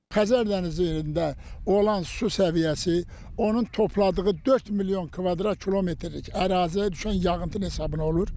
Xəzər dənizində olan su səviyyəsi onun topladığı 4 milyon kvadrat kilometrlik əraziyə düşən yağıntı hesabına olur.